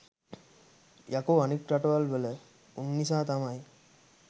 යකෝ අනික් රටවල් වල උන් නිසා තමයි